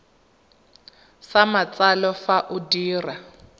sa matsalo fa o dira